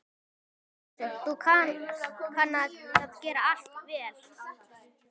Maður einsog þú kann að gera allt vel.